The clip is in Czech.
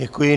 Děkuji.